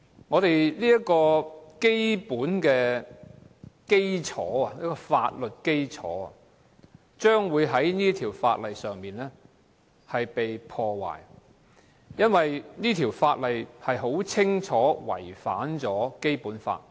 我們基本的法律基礎將會被《條例草案》破壞，因為它明顯違反《基本法》。